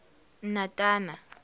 natana